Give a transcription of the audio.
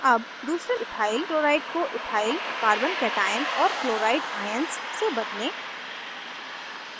अब दूसरे ethyl chloride को ethyl carboकैटाइअन और chloride ions से बदलें